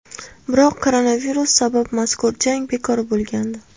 Biroq koronavirus sabab mazkur jang bekor bo‘lgandi .